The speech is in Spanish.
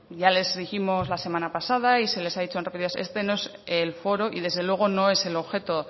ya les dijimos la semana pasada y se les ha dicho en repetidas ocasiones que este no es el foro y desde luego no es el objeto